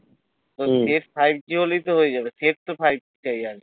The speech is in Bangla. হম তোর five g হলেই তো হয়ে হবে তো five g চাই আগে